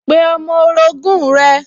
Pe ọmọ orogún rẹ̀